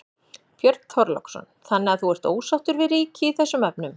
Björn Þorláksson: Þannig að þú ert ósáttur við ríkið í þessum efnum?